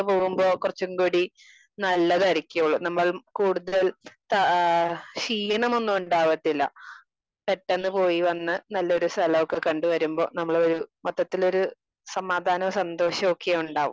Speaker 2 പോകുമ്പോ കുറച്ചും കൂടി നല്ലതായിരിക്കോള്ളു. നമ്മള് കൂടുതൽ താ ആഹ് ക്ഷീണം ഒന്നും ഉണ്ടാകത്തില്ല. പെട്ടന്ന് പോയി വന്ന് നല്ല ഒരു സ്ഥലൊക്കെ കണ്ട് വരുമ്പോ നമ്മള് മൊത്തത്തിലൊരു സമാധാനവും സന്തോഷവൊക്കെ ഉണ്ടാവും.